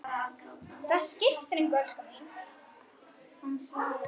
Það skiptir engu, elskan mín.